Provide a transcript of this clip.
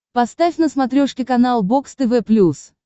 поставь на смотрешке канал бокс тв плюс